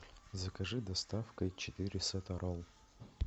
закажи доставкой четыре сета ролл